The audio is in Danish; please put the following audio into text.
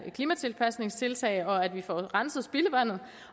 klimatilpasningstiltag at vi får renset spildevandet